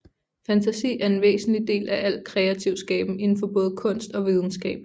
Fantasi er en væsentlig del af al kreativ skaben indenfor både kunst og videnskab